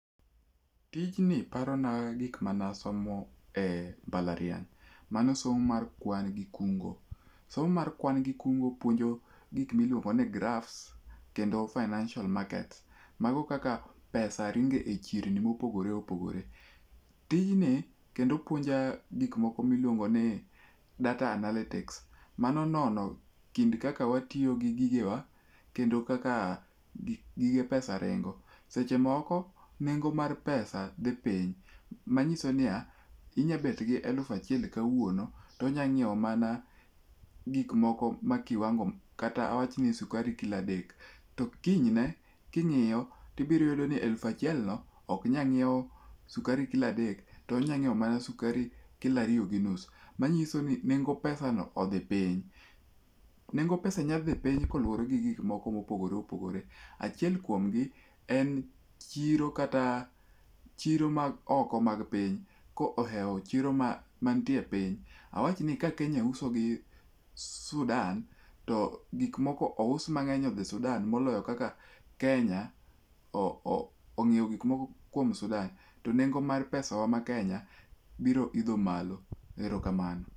Tijni parona gik mane asomo embalariany. Mano so mo mar kwan gi kungo. Somo mar kwan gi kungo puonjo gik miluongo ni graph kendo financial market. Mano kaka pesa ringo e chirni mopogore opogore. Tijni kendo puonja gik moko miluongo ni data analytics. Mano nono kind kaka watiyo gi gigewa. kendo kaka gige pesa ringo. Seche moko nengo mar pesa odhi piny. Manyiso niya inyalo bet gi elufu achiel kawuono, to inyalo nyiewo mana gik momoko e kiwango no to kinyne king'iyo, to ibiro iyudo mani ellufu achiel no ok nyal nyiewo sukari kilo adek to onyalo mana Nyiewo sukari kilo ariyo gi nus. Manyiso ni nengo peasa no odhi piny. Nengo pesa nyalo dhi piny kaluwore gi gik moko mopogore opogore, achiel kuom gi en chiro kata chiro mag oko mag piny kohewo chiro mar awachni ka Kenya wuso go sudan, to gik moko ous mang'eny odhi Sudan, moloyo kaka Kenya onyieo gikmoko kuom Sudan to nengo mar pesawa ma Kenya biro idho malo. Erokamano,